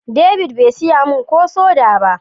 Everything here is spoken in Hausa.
David be siya min ko soda ba.